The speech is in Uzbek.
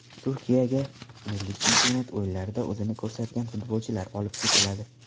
Turkiyaga milliy chempionat o‘yinlarida o‘zini ko‘rsatgan futbolchilar olib ketiladi.